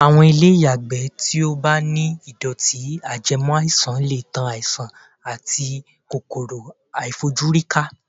Àwọn ilé ìyàgbẹ́ tí ó bá ti ní ìdọ̀tí-ajẹmọ́-àìsàn lè tan àìsàn àti kòkòrò-àìfojúrí ká.